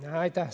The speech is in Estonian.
Aitäh!